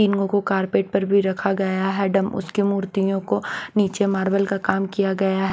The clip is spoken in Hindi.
इनगो को कारपेट पर भी रखा गया है डम उसकी मूर्तियों को नीचे मार्बल का काम किया गया --